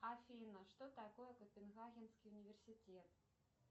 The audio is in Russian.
афина что такое копенгагенский университет